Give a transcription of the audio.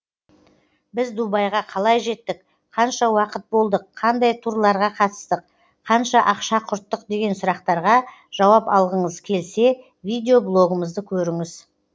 біз дубайға қалай жеттік қанша уақыт болдық қандай турларға қатыстық қанша ақша құрттық деген сұрақтарға жауап алғыңыз келсе видеоблогымызды көріңіз